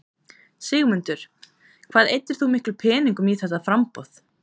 Sigmundur: Hvað eyddir þú miklum peningum í þetta framboð?